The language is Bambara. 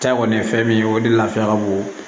Ta kɔni ye fɛn min ye o de lafiya ka bon